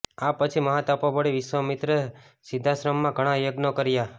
આ પછી મહા તપોબળી વિશ્વામિત્રે સિદ્ધાશ્રમમાં ઘણા યજ્ઞો કર્યા